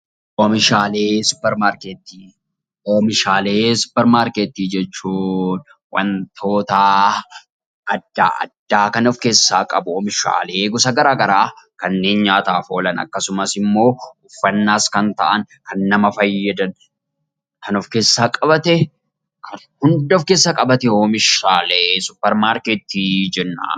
Oomishaalee suuparmarketii jechuun wantoota adda addaa kan of keessaa qabu; oomishaalee gosa garaa garaa kanneen nyaataaf oolan, akkasumas immoo uffannaafis kan ta'an, kan nama fayyadan kan of keessaa qabate oomishaalee suuparmarketii jenna.